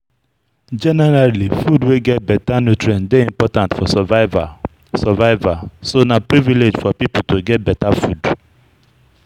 Generally, food wey get better nutrient dey important for survival, survival, so na privilege for pipo to get better food